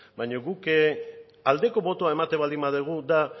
baina guk aldeko botoa ematen baldin badugu da